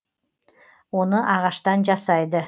оны ағаштан жасайды